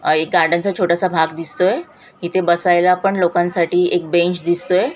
अ एक गार्डन चा छोटासा भाग दिसतोय इथे बसायला पण लोकांसाठी एक बेंच दिसतोय.